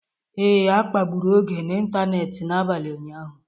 Ee, a kpagburu Oge n'ịntanetị n’abalị ụnyaahụ.